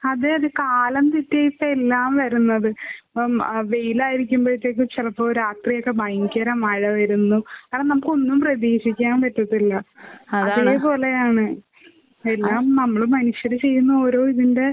അതെ അതെ കാലം തെറ്റിയിട്ട എല്ലാം വരുന്നത്. ഇപ്പോം ആഹ് വെയിലായിരിക്കുമ്പഴത്തേക്കും ചെലപ്പോ രാത്രിയൊക്കെ ഭയങ്കര മഴ വരുന്നു. കാരണം നമുക്ക് ഒന്നും പ്രതീക്ഷിക്കാൻ പറ്റത്തില്ല. അതാണ്. അതെ പോലെയാണ് ആഹ് എല്ലാം നമ്മള് മനുഷ്യര് ചെയ്യുന്ന ഓരോ ഇതിന്റെ